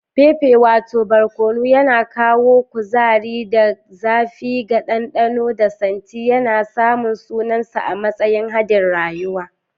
Pepper wato barkono, yana kawo kuzari da zafi ga dandano da santi, yana samun sunansa a matsayin hadin rayuwa.